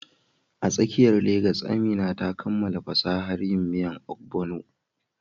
A tsakiyar Legas, Amina ta kammala fasahar yin miya Ogbono.